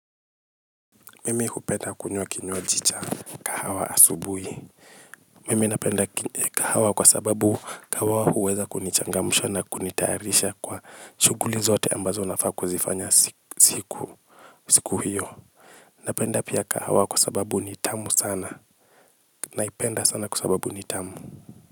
Mimi hupenda kunywa kinywaji cha kahawa asubuhi. Mimi napenda kahawa kwa sababu kahawa huweza kunichangamsha na kunitayarisha kwa shughuli zote ambazo nafaa kuzifanya siku hiyo. Napenda pia kahawa kwa sababu ni tamu sana. Naipenda sana kwa sababu nitamu.